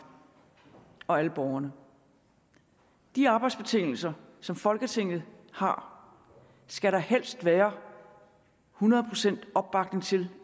og alle borgerne de arbejdsbetingelser som folketinget har skal der helst være hundrede procent opbakning til